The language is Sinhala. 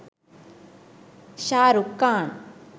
shahrukh khan